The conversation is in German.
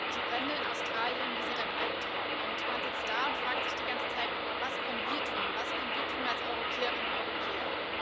Die Brände in Australien sind ein Alptraum, und man sitzt da und fragt sich die ganze Zeit Was können wir tun, was können wir tun als Europäerinnen und Europäer?